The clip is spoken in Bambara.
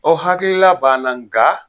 O hakilila b'an na nga